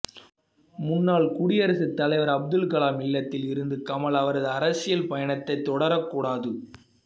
முன்னாள் குடியரசு தலைவர் அப்துல் கலாம் இல்லத்தில் இருந்து கமல் அவரது அரசியல் பயணத்தை தொடரக் கூடாது